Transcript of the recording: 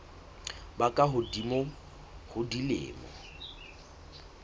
ba ka hodimo ho dilemo